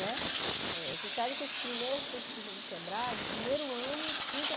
Né você sabe que as primeiras pesquisas do Sebrae, no primeiro ano, trinta